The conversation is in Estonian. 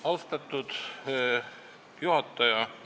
Austatud juhataja!